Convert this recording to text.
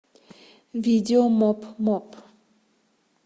видео моп моп